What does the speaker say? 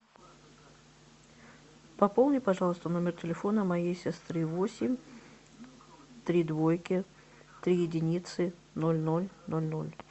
пополни пожалуйста номер телефона моей сестры восемь три двойки три единицы ноль ноль ноль ноль